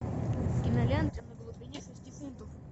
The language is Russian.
кинолента на глубине шести футов